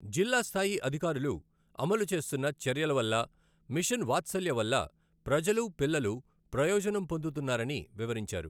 జిల్లా స్థాయి అధికారులు అమలు చేస్తున్న చర్యల వల్ల మిషన్ వాత్సల్య వల్ల ప్రజలు, పిల్లలు ప్రయోజనం పొందుతున్నారని వివరించారు.